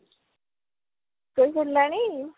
ଶୋଇ ପଡିଲାଣି